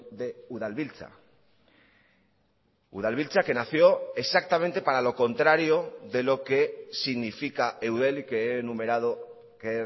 de udalbiltza udalbiltza que nació exactamente para lo contrario de lo que significa eudel y que he numerado que he